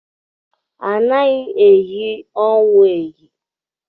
Anaghị eyi ọnwụ eyi.